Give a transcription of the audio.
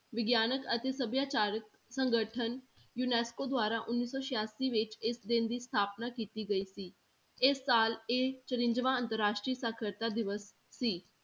ਵਿਗਿਆਨਕ ਅਤੇ ਸਭਿਆਚਾਰਕ ਸੰਗਠਨ ਯੂਨੈਸਕੋ ਦੁਆਰਾ ਉੱਨੀ ਸੌ ਸਿਆਸੀ ਵਿੱਚ ਇਸ ਦਿਨ ਦੀ ਸਥਾਪਨਾ ਕੀਤੀ ਗਈ ਸੀ ਇਹ ਸਾਲ ਇਹ ਚੁਰੰਜਵਾਂ ਅੰਤਰ ਰਾਸ਼ਟਰੀ ਸਾਖ਼ਰਤਾ ਦਿਵਸ ਸੀ।